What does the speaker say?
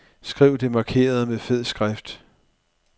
Skriv det markerede med fed skrift.